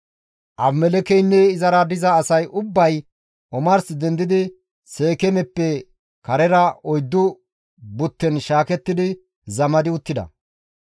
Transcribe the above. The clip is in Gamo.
Abimelekkeynne izara diza asay ubbay omars dendidi Seekeemeppe karera 4 butten shaakettidi zamadi uttida.